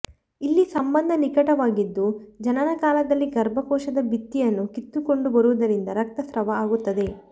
ಇಲ್ಲಿ ಸಂಬಂಧ ನಿಕಟವಾಗಿದ್ದು ಜನನ ಕಾಲದಲ್ಲಿ ಗರ್ಭಕೋಶದ ಭಿತ್ತಿಯನ್ನು ಕಿತ್ತುಕೊಂಡು ಬರುವುದರಿಂದ ರಕ್ತಸ್ರಾವ ಆಗುತ್ತದೆ